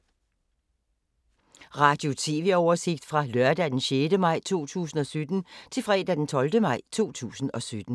Radio/TV oversigt fra lørdag d. 6. maj 2017 til fredag d. 12. maj 2017